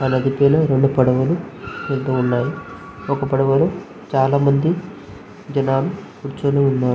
ఆ నది పైన రెండు పడవలు వెళ్తూ ఉన్నాయి. ఒక పడవలో చాలామంది జనాలు కూర్చుని ఉన్నారు.